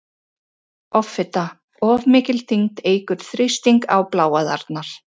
Offita- Of mikil þyngd eykur þrýsting á bláæðarnar.